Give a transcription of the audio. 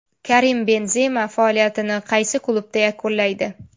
Karim Benzema faoliyatini qaysi klubda yakunlaydi?